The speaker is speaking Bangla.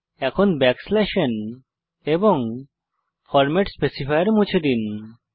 এখন ব্যাকস্ল্যাশ n এবং ফরম্যাট স্পেসিফায়ার মুছে দিন